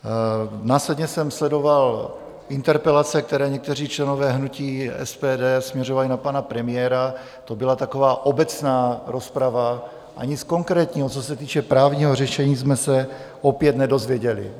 Následně jsem sledoval interpelace, které někteří členové hnutí SPD směřovali na pana premiéra, to byla taková obecná rozprava a nic konkrétního, co se týče právního řešení, jsme se opět nedozvěděli.